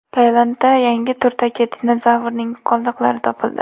Tailandda yangi turdagi dinozavrning qoldiqlari topildi.